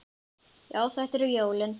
Já, þetta eru jólin!